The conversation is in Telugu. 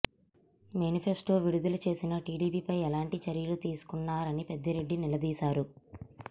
మేనిఫెస్టో విడుదల చేసిన టీడీపీపై ఎలాంటి చర్యలు తీసుకున్నారని పెద్దిరెడ్డి నిలదీశారు